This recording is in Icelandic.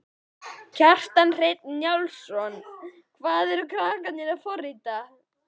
Kjartan Hreinn Njálsson: Hvað eru krakkarnir að, að forrita?